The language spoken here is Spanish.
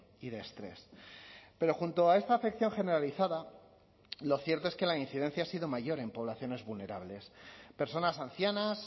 y de estrés pero junto a esta afección generalizada lo cierto es que la incidencia ha sido mayor en poblaciones vulnerables personas ancianas